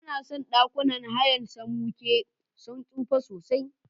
Banason ɗakunan hayan Samankwe sun tsufa sosai.